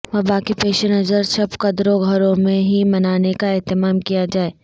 وبا کے پیش نظر شب قدر گھروں میں ہی منانے کا اہتمام کیا جائے